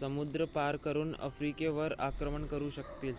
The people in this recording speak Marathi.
समुद्र पार करुन आफ्रिकेवर आक्रमण करु शकतील